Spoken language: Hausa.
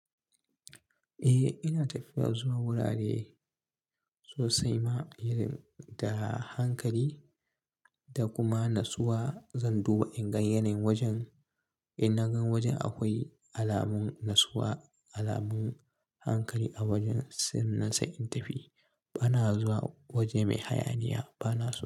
Eh ina tafiya zuwa wurare sosai ma, irin da hankali da kuma natsuwa zan duba in gan yanayin wajen. In na gan wajen akwai alamun natsuwa, alamun hankali a wajen, san nan sai in tafi. Bana zuwa waje mai hayaniya bana so.